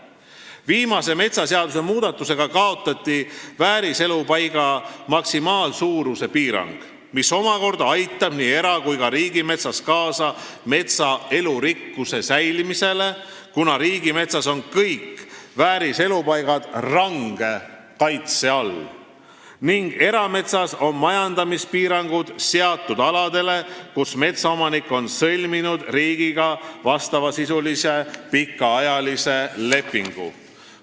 Viimase metsaseaduse muutmisega kaotati vääriselupaiga maksimaalsuuruse piirang, mis omakorda aitab nii era- kui ka riigimetsas kaasa metsa elurikkuse säilimisele, kuna riigimetsas on kõik vääriselupaigad range kaitse all ning erametsas on majandamispiirangud seatud aladele, kus metsaomanik on riigiga sõlminud vastavasisulise pikaajalise lepingu.